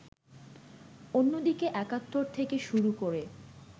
অন্যদিকে একাত্তর থেকে শুরু করে